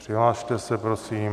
Přihlaste se prosím.